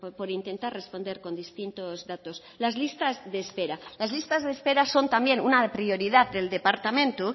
por intentar responder con distintos datos las listas de espera las listas de espera son también una prioridad del departamento